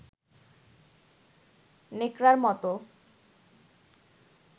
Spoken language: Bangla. ন্যাকড়ার মতো